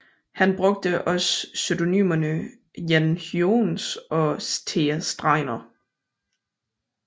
Han brugte også pseudonymerne Jan Hyoens og Thea Streiner